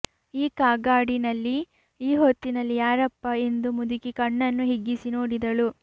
ಈ ಕಗ್ಗಾಡಿನಲ್ಲಿ ಈ ಹೊತ್ತಿನಲ್ಲಿ ಯಾರಪ್ಪಾ ಎಂದು ಮುದುಕಿ ಕಣ್ಣನ್ನು ಹಿಗ್ಗಿಸಿ ನೋಡಿದಳು